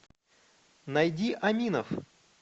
найди аминов